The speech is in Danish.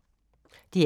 DR K